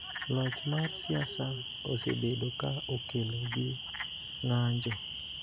Loch mar siasa osebedo ka okelo gi ng�anjo